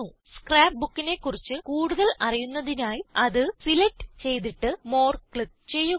ScrapBookനെ കുറിച്ച് കൂടുതൽ അറിയുന്നതിനായി അത് സിലക്റ്റ് ചെയ്തിട്ട് മോർ ക്ലിക്ക് ചെയ്യുക